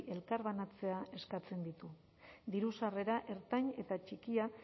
elkarbanatzea eskatzen ditu diru sarrera ertain eta txikia